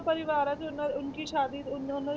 ਪਰਿਵਾਰਾਂ ਵਿੱਚ ਉਹਨਾਂ ਉਨ ਕੀ ਸ਼ਾਦੀ ਉਹਨਾਂ, ਉਹਨਾਂ